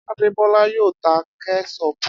Adebola yóò ta Kẹ́ṣọpù.